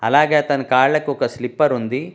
అలాగే అతని కాళ్ళకొక స్లిప్పరుంది .